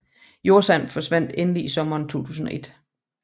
Jordsand forsvandt endelig i sommeren 2001